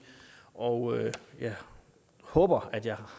og jeg håber jeg